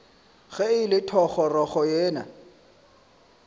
ge e le thogorogo yena